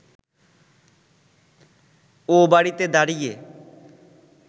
ও বাড়িতে দাঁড়িয়ে